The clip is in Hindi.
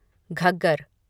घग्गर